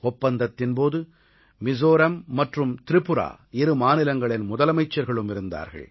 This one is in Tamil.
ஒப்பந்தத்தின் போது மிஸோராம் மற்றும் திரிபுரா இரு மாநிலங்களின் முதலமைச்சர்களும் இருந்தார்கள்